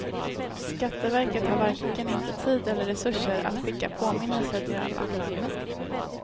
Skatteverket har varken inte tid eller resurser att skicka påminnelser till alla.